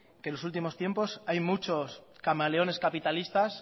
que en los últimos tiempos hay muchos camaleones capitalistas